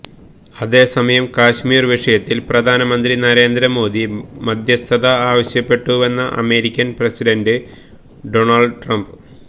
അതേസമയം കശ്മീര് വിഷയത്തില് പ്രധാനമന്ത്രി നരേന്ദ്ര മോദി മദ്ധ്യസ്ഥത ആവശ്യപ്പെട്ടുവെന്ന അമേരിക്കന് പ്രസിഡന്റ് ഡൊണള്ട് ട്രംപ്